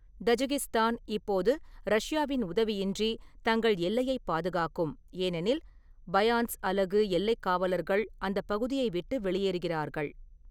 Tajikistan இப்போது ரஷ்யாவின் உதவியின்றி தங்கள் எல்லையை பாதுகாக்கும், ஏனெனில் பயாந்ஸ் அலகு எல்லைக் காவலர்கள் அந்த பகுதியை விட்டு வெளியேறுகிறார்கள்.